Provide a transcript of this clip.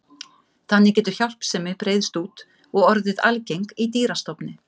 Þannig getur hjálpsemi breiðst út og orðið algeng í dýrastofni.